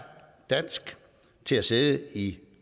dansk til at sidde i